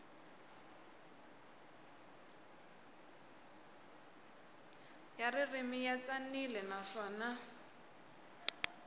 ya ririmi ya tsanile naswona